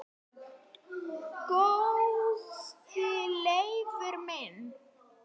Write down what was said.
Góði Leifur minn